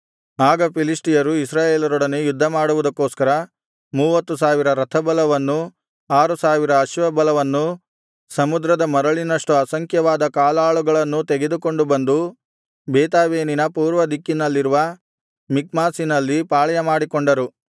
ಆಗ ಫಿಲಿಷ್ಟಿಯರು ಇಸ್ರಾಯೇಲರೊಡನೆ ಯುದ್ಧಮಾಡುವುದಕ್ಕೋಸ್ಕರ ಮೂವತ್ತು ಸಾವಿರ ರಥಬಲವನ್ನೂ ಆರು ಸಾವಿರ ಅಶ್ವಬಲವನ್ನೂ ಸಮುದ್ರದ ಮರಳಿನಷ್ಟು ಅಸಂಖ್ಯವಾದ ಕಾಲಾಳುಗಳನ್ನೂ ತೆಗೆದುಕೊಂಡು ಬಂದು ಬೇತಾವೆನಿನ ಪೂರ್ವದಿಕ್ಕಿನಲ್ಲಿರುವ ಮಿಕ್ಮಾಷಿನಲ್ಲಿ ಪಾಳೆಯಮಾಡಿಕೊಂಡರು